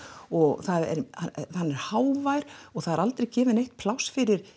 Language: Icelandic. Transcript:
og hann er hávær og það aldrei kemur neitt pláss fyrir